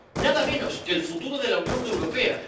Nada menos que el futuro de la Unión Europea.